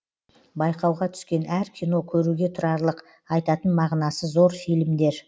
байқауға түскен әр кино көруге тұрарлық айтатын мағынасы зор фильмдер